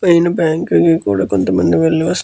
పైన బ్యాంక్ కి కూడా కొంతమంది వెళ్ళి వస్తు --